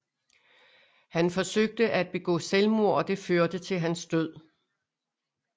Han forsøgte at begå selvmord og det førte til hans død